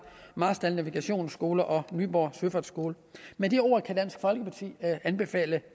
marstal navigationsskole og nyborg søfartsskole med de ord kan dansk folkeparti anbefale